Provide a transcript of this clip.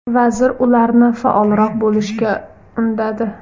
Vazir ularni faolroq bo‘lishga undadi.